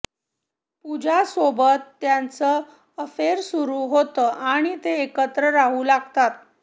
पूजा सोबत त्याचं अफेअर सुरू होतं आणि ते एकत्र राहू लागतात